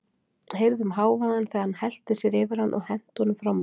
Heyrðum hávaðann þegar hann hellti sér yfir hann og henti honum fram úr.